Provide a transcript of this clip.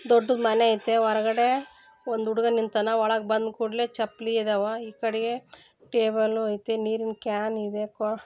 ದೊಡ್ಡ ಮನೆ ಒಳಗಡೆ ಹುಡುಗ ನಿಂತಿದ್ದಾನೆ ಒಳ್ಳಗೆ ಬಂದ್ ಕೂಡಲೇ ಚಪ್ಲಿ ಇದಾವ ಈ ಕಡೆಗೆ ಟೇಬಲು ಐತಿ ನೀರಿನ ಕಾನ್ ಇದೆ